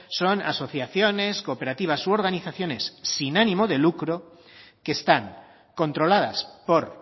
son asociaciones cooperativas u organizaciones sin ánimo de lucro que están controladas por